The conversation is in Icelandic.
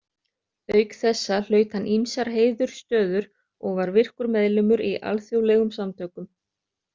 Auk þessa hlaut hann ýmsar heiðursstöður og var virkur meðlimur í alþjóðlegum samtökum.